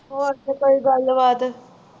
ਹੋਰ ਸੁਣਾ ਕੋਈ ਗੱਲ ਬਾਤ